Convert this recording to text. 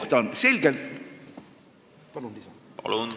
Palun, kolm minutit lisaaega!